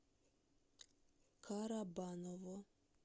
карабаново